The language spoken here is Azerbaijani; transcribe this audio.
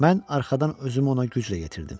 Mən arxadan özümü ona güclə yetirdim.